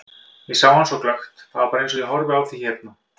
Ég sá hann svo glöggt, það var bara eins og ég horfi á þig hérna.